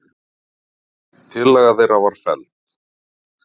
Tillaga þeirra var felld.